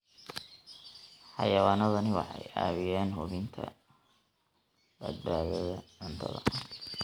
Xayawaanadani waxay caawiyaan hubinta badbaadada cuntada.